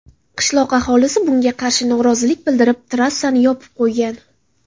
Qishloq aholisi bunga qarshi norozilik bildirib, trassani yopib qo‘ygan.